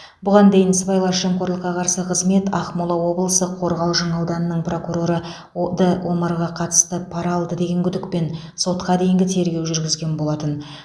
бұған дейін сыбайлас жемқорлыққа қарсы қызмет ақмола облысы қорғалжың ауданының прокуроры д омарға қатысты пара алды деген күдікпен сотқа дейінгі тергеу жүргізген болатын